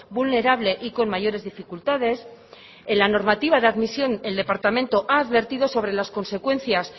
vulnerable y con mayores dificultades en la normativa de admisión el departamento ha advertido sobre las consecuencias